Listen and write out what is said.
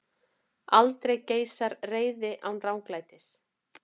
Aldrei geisar reiði án ranglætis.